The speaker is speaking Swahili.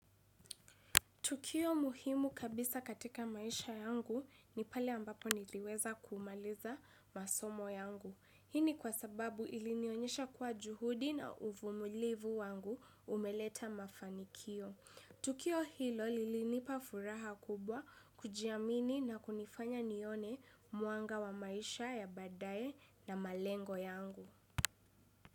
Tukio muhimu kabisa katika maisha yangu ni pale ambapo niliweza kumaliza masomo yangu. Hii ni kwa sababu ilinionyesha kuwa juhudi na uvumulivu wangu umeleta mafanikio. Tukio hilo lilinipa furaha kubwa kujiamini na kunifanya nione mwanga wa maisha ya badaye na malengo yangu.